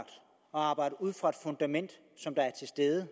arbejde ud fra det fundament som er til stede